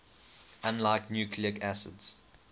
unlike nucleic acids